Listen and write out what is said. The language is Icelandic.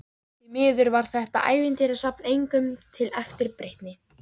Því miður varð þetta ævintýrasafn engum til eftirbreytni.